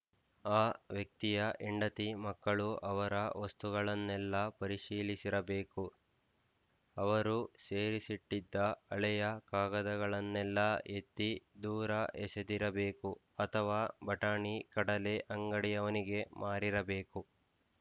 ಆ ವ್ಯಕ್ತಿಯ ಹೆಂಡತಿಮಕ್ಕಳು ಅವರ ವಸ್ತುಗಳನ್ನೆಲ್ಲ ಪರಿಶೀಲಿಸಿರಬೇಕು ಅವರು ಸೇರಿಸಿಟ್ಟಿದ್ದ ಹಳೆಯ ಕಾಗದಗಳನ್ನೆಲ್ಲಾ ಎತ್ತಿ ದೂರ ಎಸೆದಿರಬೇಕು ಅಥವಾ ಬಟಾಣಿಕಡಲೆ ಅಂಗಡಿಯವನಿಗೆ ಮಾರಿರಬೇಕು